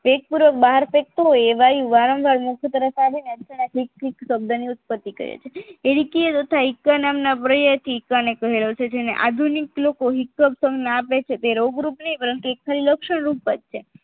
પેટપૂર્વક બહાર ફેકતું હોય એ વાયુ વારંવાર મુખ તરફ આવીને શબ્દની ઉત્પતી કરે છે ઈરેકી અને ઇકા નામની ઉત્પન્ન પ્રયત્નથી એકાદી મેળવે છે જેને આધુનિક લોકો આપે છે તે રોગ રૂપની પરંતુ એકાદિલ લક્ષણ રૂપ ઉપાધિ છે